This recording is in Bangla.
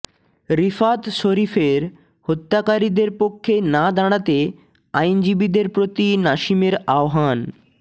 রিফাত শরীফের হত্যাকারীদের পক্ষে না দাঁড়াতে আইনজীবীদের প্রতি নাসিমের আহ্বান